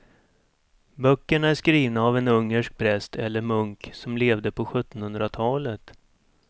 Böckerna är skrivna av en ungersk präst eller munk som levde på sjuttonhundratalet.